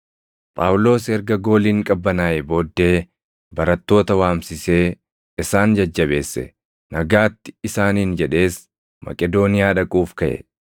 Phaawulos erga gooliin qabbanaaʼee booddee barattoota waamsisee isaan jajjabeesse; “Nagaatti” isaaniin jedhees Maqedooniyaa dhaquuf kaʼe.